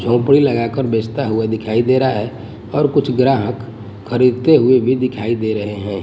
झोपड़ी लगा कर बेचता हुआ दिखाई दे रहा है और कुछ ग्राहक खरीदते हुए भी दिखाई दे रहे हैं।